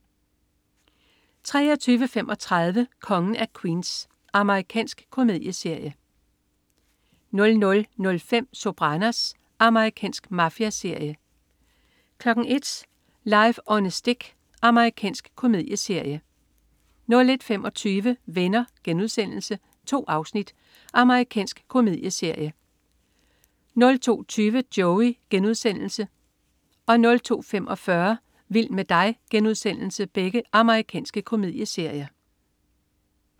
23.35 Kongen af Queens. Amerikansk komedieserie 00.05 Sopranos. Amerikansk mafiaserie 01.00 Life on a Stick. Amerikansk komedieserie 01.25 Venner.* 2 afsnit. Amerikansk komedieserie 02.20 Joey.* Amerikansk komedieserie 02.45 Vild med dig.* Amerikansk komedieserie